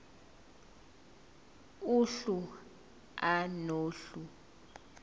uhlu a nohlu